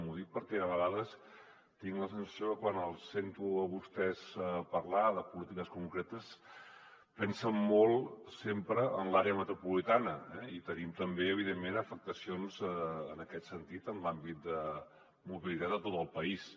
ho dic perquè a vegades tinc la sensació que quan els sento a vostès parlar de polítiques concretes pensen molt sempre en l’àrea metropolitana eh i tenim també evidentment afectacions en aquest sentit en l’àmbit de mobilitat a tot el país